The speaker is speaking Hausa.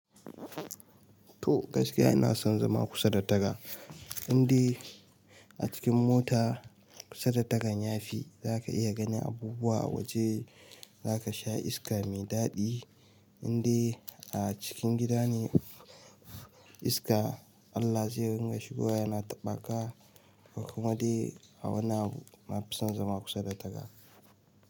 To gaskiya ina son zama kusa da taga. Inde a cikin mota kusa da tagan yafi zaka iya ganin abubuwa a waje, zaka sha iska mai daɗi. Inde a cikin gida ne iska Allah zai ringa shigowa yana taɓaka. Ko kuma de a wani abu na fi son zama kusa da taga.